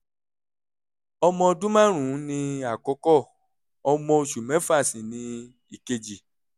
ọmọ ọdún márùn-ún ni àkọ́kọ́ ọmọ oṣù mẹ́fà sì ni ìkejì